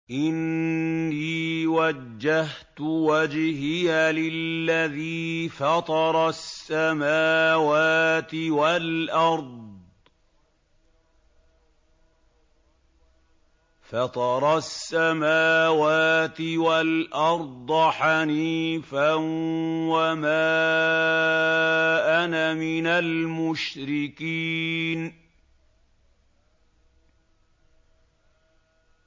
إِنِّي وَجَّهْتُ وَجْهِيَ لِلَّذِي فَطَرَ السَّمَاوَاتِ وَالْأَرْضَ حَنِيفًا ۖ وَمَا أَنَا مِنَ الْمُشْرِكِينَ